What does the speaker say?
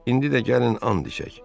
İndi də gəlin and içək.